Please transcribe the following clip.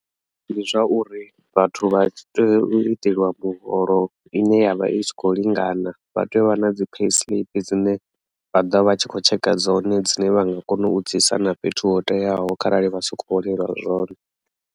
Ndi zwa uri vhathu vha tea u iteliwa muholo ine yavha i sa kho lingana vha tea u vha na dzi pay slip dzine vha ḓo vha tshi kho tsheka dzone dzine vha nga kona u dzi isa na fhethu ho teaho kharali vha si kho holeliwa zwone.